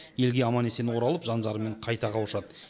елге аман есен оралып жан жарымен қайта қауышады